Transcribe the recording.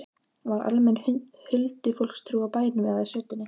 Var almenn huldufólkstrú á bænum eða í sveitinni?